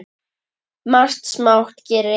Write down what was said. Margt smátt gerir eitt stórt.